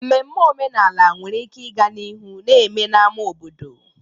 Mmeme omenala nwere ike ịga n'ihu na-eme n'ámá obodo.